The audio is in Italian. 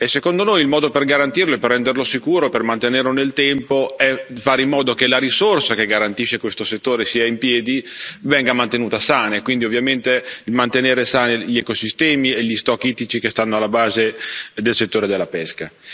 Secondo noi il modo per garantirlo e per renderlo sicuro, per mantenerlo nel tempo, è fare in modo che la risorsa che garantisce che questo settore stia in piedi venga mantenuta sana, e quindi ovviamente mantenere sani gli ecosistemi e gli stock ittici che stanno alla base del settore della pesca.